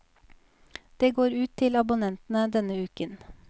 Det går ut til abonnentene denne uken.